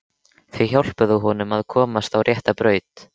Þau hjálpuðu honum að komast á rétta braut.